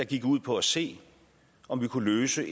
gik ud på at se om vi kunne løse